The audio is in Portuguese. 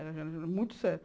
Era era muito sério.